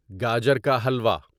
گاجر کا ہلوا